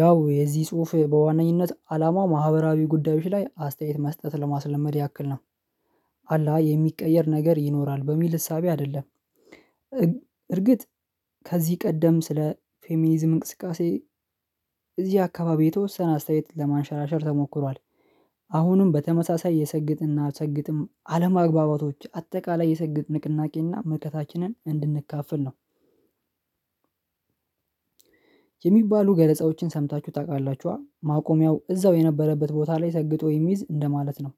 ያው የዚህ ጽሁፍ በዋነኝነት አላማው ማህበራዊ ጉዳዮች ላይ አስተያየት መስጠት ለማስለመድ ያክል ነው አላ የሚቀየር ነገር ይኖራል በሚል እሳቤ አይደለም። እርግጥ ከዚህ ቀደም ስለ ፌሚኒዝም እንቅስቃሴ። እዚህ አካባቢ የተወሰነ አስተያየት ለማንሸራሸር ተሞክሯል አሁንም በተመሳሳይ የሰግጥና ሰግጥም አለማግባባቶች አጠቃላይ የሰግጥ ንቅናቄና መልከታችንን እንድንካፈል ነው። የሚባሉ ገለጻዎችን ሰምታችሁ ታውቃላችሁአ? ማቆሚያው እዛው የነበረበት ቦታ ላይ ሰግጦ የሚይዝ እንደማለት ነው።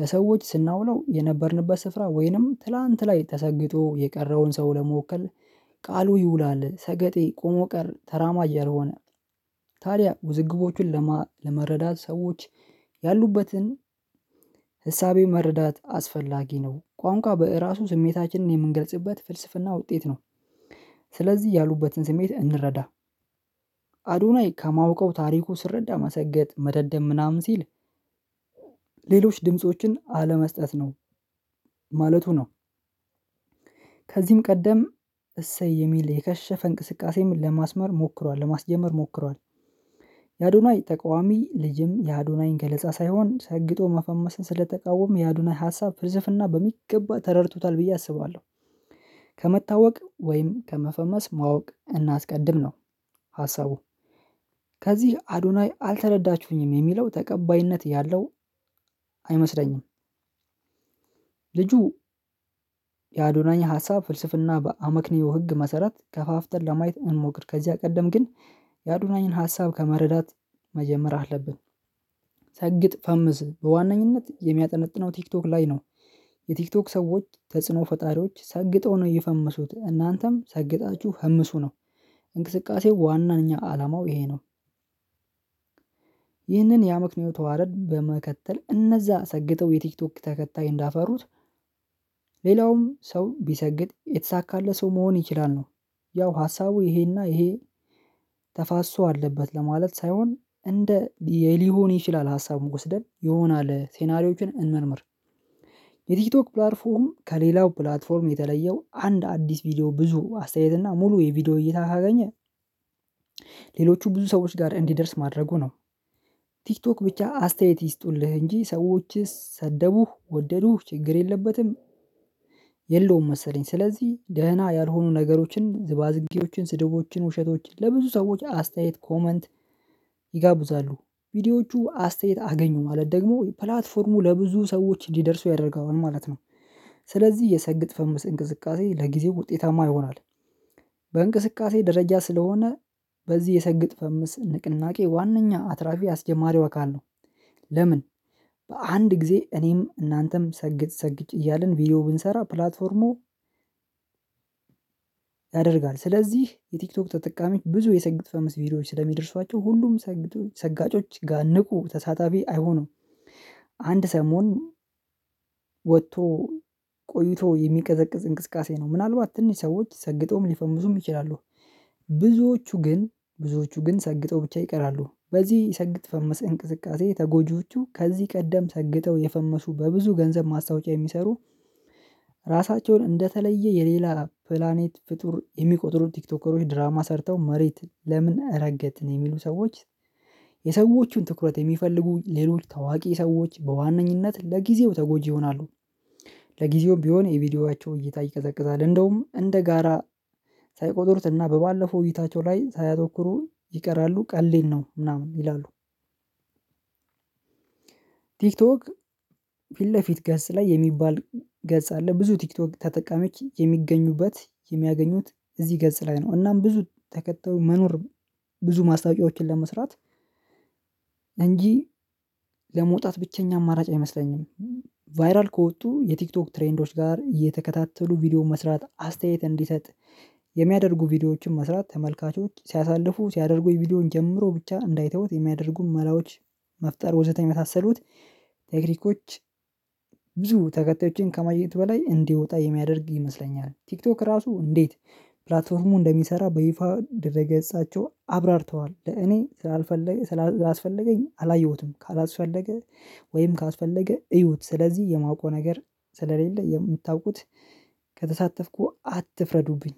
ለሰዎች ስናውለው የነበርንበት ስፍራ ወይንም ትላንት ላይ ተሰግጦ የቀረውን ሰው ለመወከል ቃሉ ይውላል ሰገጤ ቆሞ ቀር ተራማጃ ያልሆነ። ታዲያ ውዝግቦችን ለመረዳት ሰዎች ያሉበትን ህሳቤ መረዳት አስፈላጊ ነው። ቋንቋ በእራሱ ስሜታችንን የምንገልጽበት ፍልስፍና ውጤት ነው። ስለዚህ ያሉበትን ስሜት እንረዳ። አዶናይ ከማውቀው ታሪኩ ስረዳ መሰገጥ መደደብ ምናምን ሲል ሌሎች ድምፆችን አለመስጠት ነው። ማለቱ ነው። ከዚህም ቀደም እሰይ የሚል የከሸፈ እንቅስቃሴም ለማስመር ሞክሯል ለማስጀመር ሞክሯል። የአዶናይ ተቃዋሚ ልጅም የአዶናይን ገለጻ ሳይሆን ሰግጦ መፈመስ ስለተቃወም የአዱናይ ሀሳብ ፍልስፍና በሚገባ ተረድቶታል ብዬ አስባለሁ። ከመታወቅ ወይም ከመፈመስ ማወቅ እናስቀድም ነው። ሀሳቡ ከዚህ አዱናይ አልተረዳችሁኝም የሚለው ተቀባይነት ያለው አይመስለኝም። ልጁ የአዶናይ ሀሳብ ፍልስፍና በአመክንዮ ህግ መሰረት ከፋፍተን ለማየት እንሞክር። ከዚያ ቀደም ግን የአዱናይን ሀሳብ ከመረዳት መጀመር አለብን። ሰግጥ ፈምስ በዋነኝነት የሚያጠነጥነው ቲክቶክ ላይ ነው። የቲክቶክ ሰዎች ተጽኖ ፈጣሪዎች ሰግጠው ነው የፈመሱት እናንተም ሰግጣችሁ ፈምሱ ነው። እንቅስቃሴው ዋናኛ አላማው ይሄ ነው። ይህንን ያምክንዮ ተዋረድ በመከተል እነዛ ሰግጠው የቲክቶክ ተከታይ እንዳፈሩት ሌላውም ሰው ቢሰግጥ የተሳካለት ሰው መሆን ይችላል ነው። ያው ሀሳቡ ይሄና ይሄ ተፋሶ አለበት ለማለት ሳይሆን እንደ ሊሆን ይችላል ሀሳብ ወስደን ይሆናል ሴናሪዮችን እንመርምር። የቲቶክ ፕላትፎርም ከሌላው ፕላትፎርም የተለየው አንድ አዲስ ቪዲዮ ብዙ አስተያየት እና ሙሉ የቪዲዮ እይታ ካገኘ ሌሎቹ ብዙ ሰዎች ጋር እንዲደርስ ማድረጉ ነው። ቲክቶክ ብቻ አስተያየት ይስጡልህ እንጂ ሰዎችስ ሰደቡ ወደዱ ችግር የለበትም። የለውም መሰለኝ ስለዚህ ደህና ያልሆኑ ነገሮችን ዝባዝቂዎችን ስድቦችን ውሸቶችን ለብዙ ሰዎች አስተያየት ኮመንት ይጋቡዛሉ ቪዲዮዎቹ አስተያየት አገኙ ማለት ደግሞ ፕላትፎርሙ ለብዙ ሰዎች እንዲደርሱ ያደርገዋል ማለት ነው። ስለዚህ የሰግጥ ፈምስ እንቅስቃሴ ለጊዜው ውጤታማ ይሆናል። በእንቅስቃሴ ደረጃ ስለሆነ በዚህ የሰግጥ ፈምስ ንቅናቄ ዋናኛ አትራፊ አስጀማሪው አካል ነው። ለምን? በአንድ ጊዜ እኔም እናንተም ሰግጥ ሰግጅ እያልን ቪዲዮ ብንሰራ ፕላትፎርሙ ያደርጋል። ስለዚህ የቲክቶክ ተጠቃሚ ብዙ የሰግጥ ፈመስ ቪዲዮዎች ስለሚደርሷቸው ሁሉም ሰጋጮች ጋን ንቁ ተሳታፊ አይሆንም። አንድ ሰሞን ወጥቶ ቆይቶ የሚቀዘቅዝ እንቅስቃሴ ነው ምናልባት ትንሽ ሰዎች ሰግጠውም ሊፈምሱም ይችላሉ። ብዙዎቹ ግን ብዙዎቹ ግን ሰግጠው ብቻ ይቀራሉ በዚህ ሰግጥ ፈመስ እንቅስቃሴ ተጎጂዎቹ ከዚህ ቀደም ሰግጠው የፈመሱ በብዙ ገንዘብ ማስታወቂያ የሚሰሩ ራሳቸውን እንደተለየ የሌላ ፕላኔት ፍጡር የሚቆጥሩት ቲክቶከሮች ድራማ ሰርተው መሬት ለምን እረገት የሚሉ ሰዎች የሰዎቹን ትኩረት የሚፈልጉ ሌሎች ታዋቂ ሰዎች በዋነኝነት ለጊዜው ተጎጂ ይሆናሉ። ለጊዜው ቢሆን የቪዲዮቻቸው እይታ ይቀዘቅዛል እንደውም እንደ ጋራ ሳይቆጥሩት እና በባለፈው እይታቸው ላይ ሳያተኩሩ ይቀራሉ ቀልዴን ነው ምናምን ይላሉ። ቲክቶክ ፊት ለፊት ገጽ ላይ የሚባል ገጽ አለ ብዙ ቲክቶክ ተጠቃመች የሚገኙበት የሚያገኙት እዚህ ገጽ ላይ ነው እናም ብዙ ተከተው መኖር ብዙ ማስታወቂያዎችን ለመስራት እንጂ ለመውጣት ብቸኛ አማራጭ አይመስለኝም። ቫይራል ከወጡ የቲክቶክ ትሬንዶች ጋር እየተከታተሉ ቪዲዮ መስራት አስተያየት እንዲሰጥ የሚያደርጉ ቪዲዮዎችን መስራት ተመልካቾች ሲያሳልፉ ሲያደርጉ የቪዲዮን ጀምሮ ብቻ እንዳይተውት የሚያደርጉን መላዎች መፍጠር ወዘተኛ የመሳሰሉት ቴክኒኮች ብዙ ተከታዮችን ከማየት በላይ እንዲወጣ የሚያደርግ ይመስለኛል። ቲክቶክ ራሱ እንዴት ፕላትፎርሙ እንደሚሰራ በይፋ ድረገጻቸውን አብራርተዋል። ለእኔ ስላልፈለገኝ ስላስፈለገኝ አላየሁትም ካላስፈለገ ወይም ካላስፈለገ እዩት ስለዚህ የማውቀው ነገር ስለሌለ የምታውቁት ከተሳተፍኩ አትፍረዱብኝ።